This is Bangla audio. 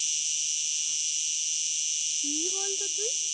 কি বলতো তুই?